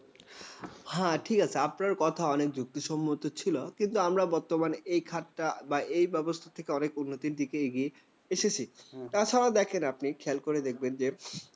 হ্যাঁ, ঠিক আছে আপনার কথা অনেক যুক্তিসম্মত ছিল। কিন্তু আমরা বর্তমানে এই খাতা বা এই ব্যবস্থা থেকে অনেক উন্নতির দিকে এগিয়ে এসেছে। তাছাড়া দেখেন আপনি খেয়াল করে দেখবেন যে